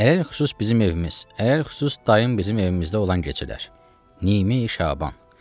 Ələlxüsus bizim evimiz, ələlxüsus dayım bizim evimizdə olan gecələr, Nimi Şaban.